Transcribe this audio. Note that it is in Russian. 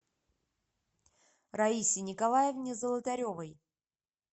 раисе николаевне золотаревой